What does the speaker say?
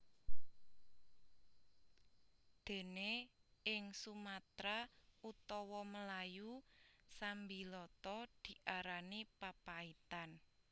Dene ing Sumatra utawa Melayu sambiloto diarani papaitan